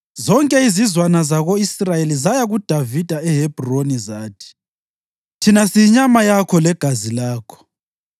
Zonke izizwana zako-Israyeli zaya kuDavida eHebhroni zathi, “Thina siyinyama yakho legazi lakho.